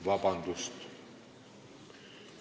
Vabandust!